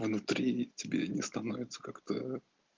а внутри тебе не становится как-то